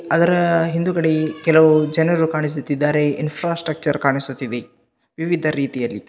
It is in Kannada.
ಅದರ ಹಿಂದುಗಡೆ ಕೆಲವು ಜನರು ಕಾಣಿಸುತ್ತಿದ್ದಾರೆ ಇನ್ಫಾಸ್ಟ್ರಕ್ಚರ್ ಕಾಣಿಸುತ್ತಿದೆ ವಿವಿಧ ರೀತಿಯಲ್ಲಿ.